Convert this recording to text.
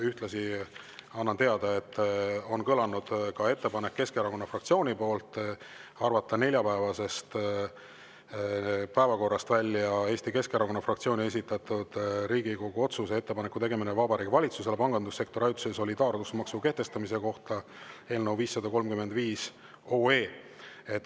Ühtlasi annan teada, et on kõlanud Keskerakonna fraktsiooni ettepanek arvata neljapäevasest päevakorrast välja Eesti Keskerakonna fraktsiooni esitatud Riigikogu otsuse "Ettepaneku tegemine Vabariigi Valitsusele pangandussektori ajutise solidaarsusmaksu kehtestamise kohta" eelnõu 535.